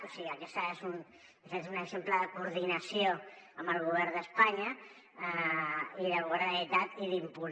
o sigui aquest és un exemple de coordinació amb el govern d’espanya del govern de la generalitat i d’impuls